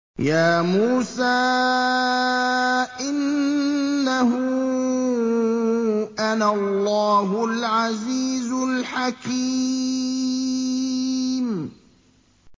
يَا مُوسَىٰ إِنَّهُ أَنَا اللَّهُ الْعَزِيزُ الْحَكِيمُ